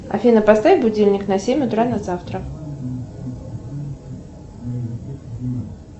афина поставь будильник на семь утра на завтра